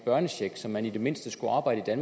børnechecken så man i det mindste skulle arbejde i